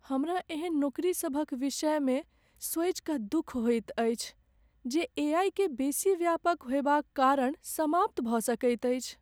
हमरा एहन नौकरी सभक विषयमे सोचि कऽ दुख होइत अछि जे एआई के बेसी व्यापक होयबाक कारण समाप्त भऽ सकैत छैक।